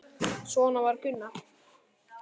Svona var Gunnar.